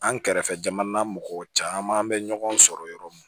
An kɛrɛfɛ jamana mɔgɔw caman bɛ ɲɔgɔn sɔrɔ yɔrɔ min